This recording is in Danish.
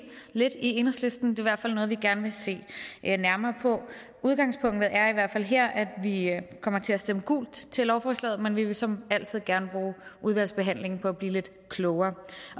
lidt i enhedslisten det i hvert fald noget vi gerne vil se nærmere på udgangspunktet er i hvert fald her at vi kommer til at stemme gult til lovforslaget men vi vil som altid gerne bruge udvalgsbehandlingen på at blive lidt klogere